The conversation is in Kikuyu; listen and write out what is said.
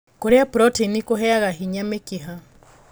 Kũrĩa proteini kũheaga hinya mĩkiha